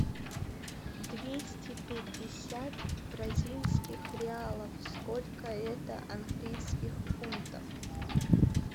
двести пятьдесят бразильских реалов сколько это английских фунтов